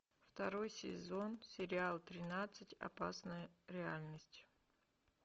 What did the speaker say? второй сезон сериал тринадцать опасная реальность